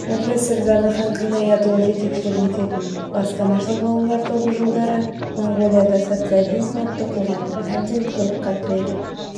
профессор зардыхан қинаятұлы жетекшілік ететін бастамашыл ғалымдар тобы жылдары моңғолияда социализм атты қоғамның әбден тығырыққа тіреліп